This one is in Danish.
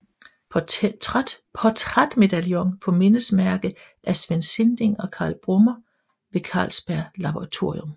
Portrætmedaljon på mindesmærke af Svend Sinding og Carl Brummer ved Carlsberg Laboratorium